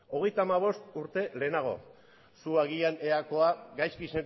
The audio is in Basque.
zu agian eakoa gaizki